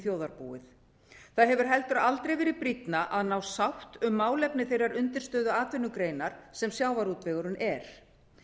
þjóðarbúið það hefur heldur aldrei verið brýnna að ná sátt um málefni þeirrar undirstöðuatvinnugreinar sem sjávarútvegurinn er